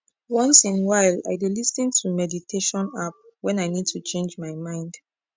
once in while i dey lis ten to meditation app when i need to change my mind